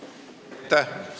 Aitäh!